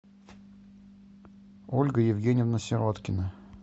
ольга евгеньевна сироткина